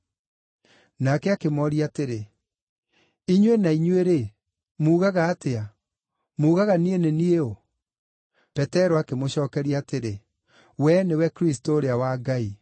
Nake akĩmooria atĩrĩ, “Inyuĩ na inyuĩ-rĩ, mugaga atĩa? Mugaga niĩ nĩ niĩ ũ?” Petero akĩmũcookeria atĩrĩ, “Wee nĩwe Kristũ ũrĩa wa Ngai.”